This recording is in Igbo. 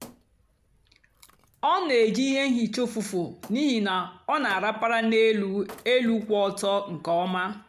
ọ na-èjì ihe hìcha ụ́fụ́fụ́ n'ihí na ọ na-àrapàra n'elú èlù kwụ́ ọ́tọ́ nkè ọ́ma.